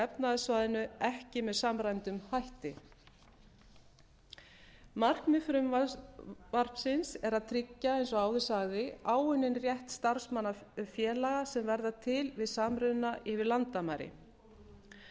efnahagssvæðinu ekki með samræmdum hætti markmið frumvarpsins er að tryggja eins og áður sagði áunninn rétt starfsmanna félaga sem verða til við samruna yfir landamæri